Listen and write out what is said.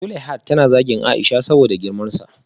Zuleihat tana zagin Aisha saboda girmansa